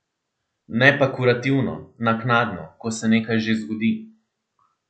Ne pa kurativno, naknadno, ko se nekaj že zgodi.